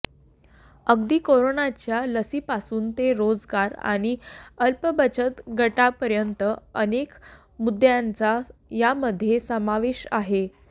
अगदी कोरोनाच्या लसीपासून ते रोजगार आणि अल्पबचत गटांपर्यंत अनेक मुद्द्यांचा यामध्ये समावेश आहे